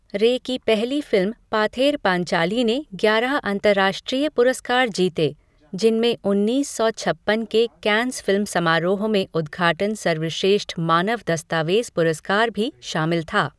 रे की पहली फिल्म पाथेर पांचाली ने ग्यारह अंतर्राष्ट्रीय पुरस्कार जीते, जिनमें उन्नीस सौ छप्पन के कैन्स फिल्म समारोह में उद्घाटन सर्वश्रेष्ठ मानव दस्तावेज़ पुरस्कार भी शामिल था।